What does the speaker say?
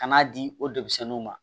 Kan'a di o demisɛnninw ma